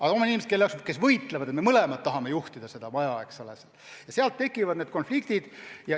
Aga jah, on inimesi, kes omavahel võitlevad: me mõlemad tahame juhtida seda maja, ja nii tekivad konfliktid.